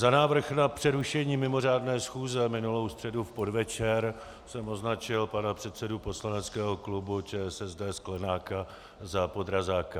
Za návrh na přerušení mimořádné schůze minulou středu v podvečer jsem označil pana předsedu poslaneckého klubu ČSSD Sklenáka za podrazáka.